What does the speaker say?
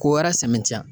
Ko wɛrɛ sɛntiyan